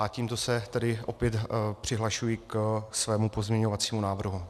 A tímto se tedy opět přihlašuji ke svému pozměňovacímu návrhu.